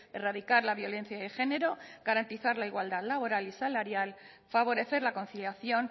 erradicar la violencia de género garantizar la igualdad laboral y salarial favorecer la conciliación